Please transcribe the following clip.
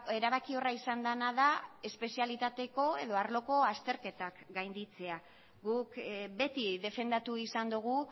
erabakiorra izan dena da espezialitateko edo arloko azterketak gainditzea guk beti defendatu izan dugu